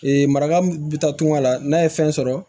Ee marakamu bi taa tunga la n'a ye fɛn sɔrɔ